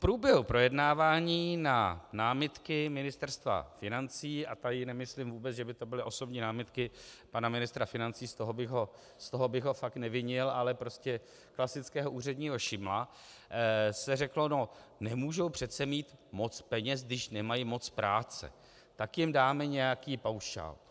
V průběhu projednávání na námitky Ministerstva financí - a tady nemyslím vůbec, že by to byly osobní námitky pana ministra financí, z toho bych ho fakt nevinil, ale prostě klasického úředního šimla, se řeklo no, nemůžou přece mít moc peněz, když nemají moc práce, tak jim dáme nějaký paušál...